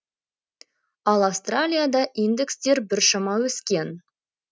ал австралияда индекстер біршама өскен